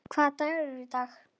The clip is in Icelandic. Hvaða dagur er í dag?